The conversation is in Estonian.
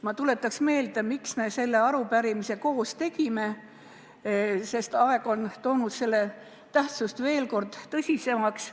Ma tuletan meelde, miks me selle arupärimise koos tegime, sest aeg on muutnud selle tähtsuse veel tõsisemaks.